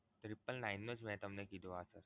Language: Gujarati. triple nine નું જ મે તમને કીધું આ